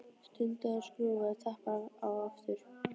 Stundi og skrúfaði tappann á aftur.